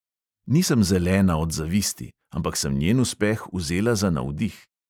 Nisem zelena od zavisti, ampak sem njen uspeh vzela za navdih.